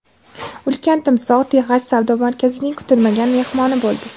Ulkan timsoh Texas savdo markazining kutilmagan mehmoni bo‘ldi .